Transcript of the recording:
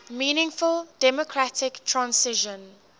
meaningful democratic transition